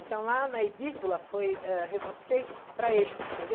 Então lá na edícula foi eh feito para eles, entendeu?